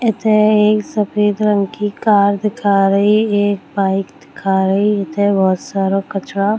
एथे एक सफेद रंग की कार दिखा रही एक बाइक दिखा रही एथे बहुत सारो कचड़ा --